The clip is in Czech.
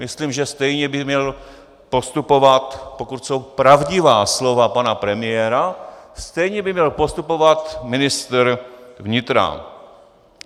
Myslím, že stejně by měl postupovat, pokud jsou pravdivá slova pana premiéra, stejně by měl postupovat ministr vnitra.